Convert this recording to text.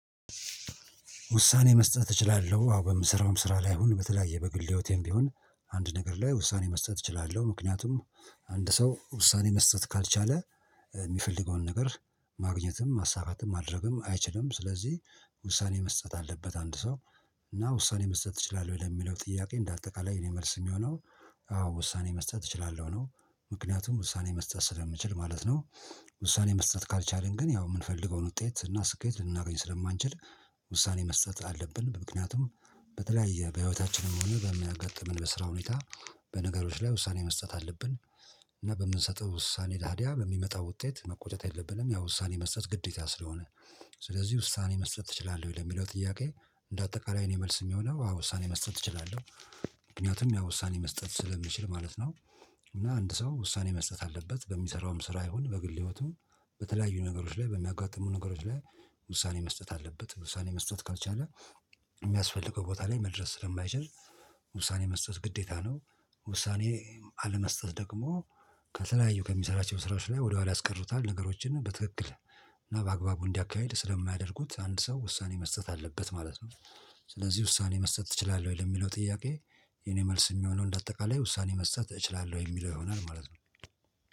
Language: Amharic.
ውሳኔ መስጠት እችላለሁ አዎ በምስራውም ስራ ላይ ሁን በተለያየ በግልደውቴም ቢሆን አንድ ነገር ላይ ውሳኔ መስጠት እችላለሁ ምክንያቱም አንድ ሰው ውሳኔ መስጠት ካልቻለ የሚፈልገውን ነገር ማግኘትም ማሳካትም ማድረግም አይችልም። ስለዚህ ውሳኔ መስጠት አለበት። አንድ ሰው እና ውሳኔ መስጠት ትችላለህ ለሚለው ጥያቄ እንደ አጠቃላይ እኔ መልስ የሚሆነው አዎ ውሳኔ መስጠት እችላለሁ ነው። ምክንያቱም ውሳኔ መስጠት ስለምችል ማለት ነው። ውሳኔ መስጠት ካልቻልን ግን ያው የምንፈልገውን ውጤት እና ስኬት ልናገኝ ስለማንችል ውሳኔ መስጠት አለብን። ምክንያቱም በተለያየ በህይወታችንም ሆነ በሚያጋጥመን በስራ ሁኔታ በነገሮች ላይ ውሳኔ መስጠት አለብን። እና በምንሰጠው ውሳኔ ታዲያ በሚመጣው ውጤት መቆጨት የለብንም ያው ውሳኔ መስጠት ግዴታ ስለሆነ። ስለዚህ ውሳኔ መስጠት እችላለሁ ወይ? ለሚለው ጥያቄ እንደ አጠቃላይ እኔ የመልስ የሚሆነው ውሳኔ መስጠት እችላለሁ። ምክንያቱም ያ ውሳኔ መስጠት ስለሚችል ማለት ነው። እና አንድ ሰው ውሳኔ መስጠት አለበት በሚሰራውም ስራ ይሁን በግል ህይወቱም በተለያዩ ነገሮች ላይ በሚያጋጥሙ ነገሮች ላይ። ውሳኔ መስጠት አለበት ውሳኔ መስጠት ካልቻለ። የሚያስፈልገው ቦታ ላይ መድረስ ስለማይችል ውሳኔ መስጠት ግዴታ ነው። ውሳኔ አለመስጠት ደግሞ ከተለያዩ ከሚሰራቸው ስራዎች ላይ ወደኋላ ያስቀሩታል ነገሮችን በትክክል እና በአግባቡ እንዲያካሂድ ስለማያደርጉት አንድ ሰው ውሳኔ መስጠት አለበት ማለት ነው። ስለዚህ ውሳኔ መስጠት ትችላለህ ወይ? ለሚለው ጥያቄ የኔ መልስ የሚሆነው እንደ አጠቃላይ ውሳኔ መስጠት እችላለሁ የሚለው ይሆናል ማለት ነው